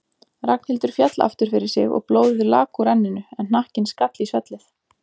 Ragnhildur féll aftur fyrir sig og blóðið lak úr enninu en hnakkinn skall í svellið.